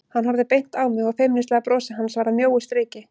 Hann horfði beint á mig og feimnislega brosið hans varð að mjóu striki.